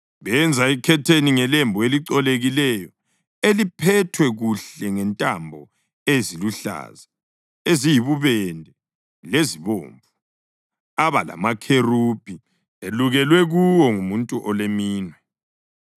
Benza ikhetheni ngelembu elicolekileyo, eliphethwe kuhle ngentambo eziluhlaza, eziyibubende lezibomvu, aba lamakherubhi elukelwe kuwo ngumuntu oleminwe.